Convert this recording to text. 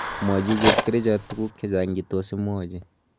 Mwachi Chepkerichot tuguk chechang che tos imwachi